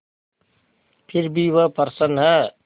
फिर भी वह प्रसन्न है